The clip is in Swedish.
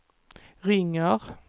ringer